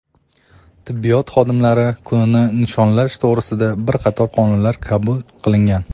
tibbiyot xodimlari kunini nishonlash to‘g‘risida bir qator qonunlar qabul qilingan.